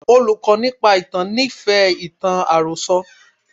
Olùkọ́ nípa ìtàn nífẹ̀ẹ́ ìtàn àròsọ.